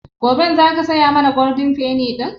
Goben za ka saya mana Golden penny ɗin?